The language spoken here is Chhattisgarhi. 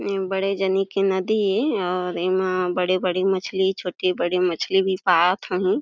ए बड़े जनी के नदी ए और एमा बड़े-बड़े मछली छोटी बड़ी मछली भी पालत होही।